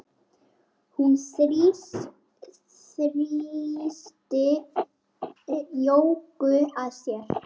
Hún þrýsti Jóku að sér.